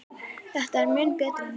Þetta er mun betra núna.